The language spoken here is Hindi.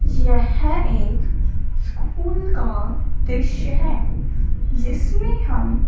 यह एक स्कूल का दृश्य है जिसमें हम--